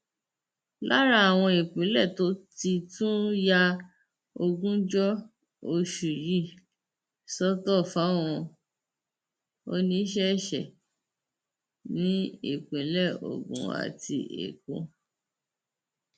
lára àwọn ìpínlẹ tó ti tún ya ogúnjọ oṣù yìí sọtọ fáwọn oníṣẹṣe ní ìpínlẹ ogun àti èkó